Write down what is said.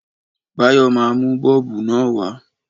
Báyọ̀ máa mú Bọ́ọ̀bù na wa